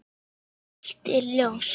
En eitt er ljóst.